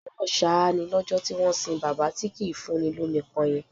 Òjò ń rọ ṣáá ni lọ́jọ́ tí wọ́n sìn bàbá tí kì í fúnni lomi pọn yẹn